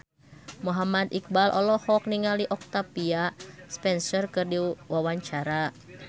Muhammad Iqbal olohok ningali Octavia Spencer keur diwawancara